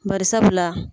Bari sabula